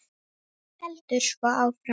Heldur svo áfram: